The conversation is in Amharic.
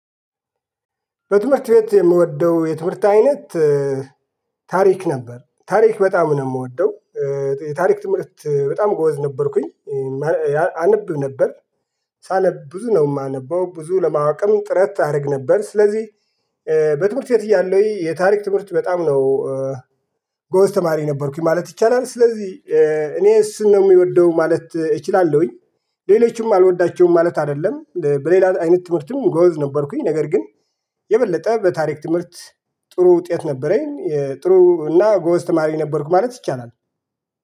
በትምህርት ቤት የምወደው የትምህርት አይነት ታሪክ ነበር ታሪክ በጣም ነው የምወደው። የታሪክ ትምህርት በጣም ጎበዝ ነበርኩኝ አነብ ነበር። ሳነብ ብዙ ነው የማነበው ብዙ ለማወቅም ጥረት አደርግ ነበር ስለዚህ። በትምህርት ቤት እያለሁኝ የታሪክ ትምህርት በጣም ነው ጎዝ ተማሪ ነበርኩኝ ማለት ይቻላል። ስለዚህ እኔ እሱን ነው የምወደው ማለት እችላለሁኝ። ሌሎችም አልወዳቸውም ማለት አይደለም በሌላ አይነት ትምህርትም ጎበዝ ነበርኩኝ ነገር ግን የበለጠ በታሪክ ትምህርት። ጥሩ ውጤት ነበረኝ ጥሩ እና ጎበዝ ተማሪ ነበርኩ ማለት ይቻላል